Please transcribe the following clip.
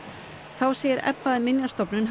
þá segir Ebba að Minjastofnun